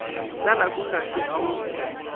tsala ku nga si hundza